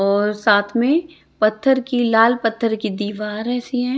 और साथ में पत्थर की लाल पत्थर की दीवार ऐसी है।